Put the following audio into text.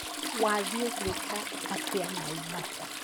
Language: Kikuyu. Wathii gwĩka atĩa naivasha?